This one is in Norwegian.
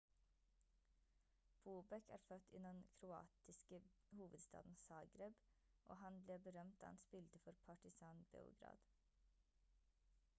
bobek er født i den kroatiske hovedstaden zagreb og han ble berømt da han spilte for partizan beograd